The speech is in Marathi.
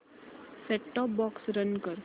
सेट टॉप बॉक्स रन कर